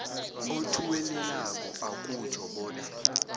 othuwelelako akutjho bona